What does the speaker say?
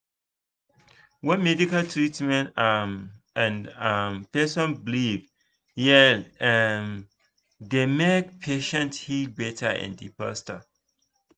when medical treatment um and um person belief jell e um dey make patients heal better and faster.